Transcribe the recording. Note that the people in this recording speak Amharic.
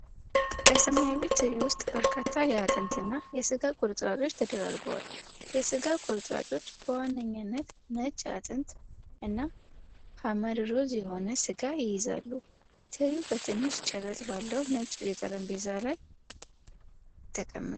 በሰማያዊ ትሪ ውስጥ በርካታ የአጥንትና የሥጋ ቁርጥራጮች ተደራርበዋል። የሥጋው ቁርጥራጮች በዋነኛነት ነጭ አጥንት እና ሐመር ሮዝ የሆነ ሥጋ ይይዛሉ። ትሪው በትንሽ ጭረት ባለው ነጭ የጠረጴዛ ገጽ ላይ ተቀምጧል።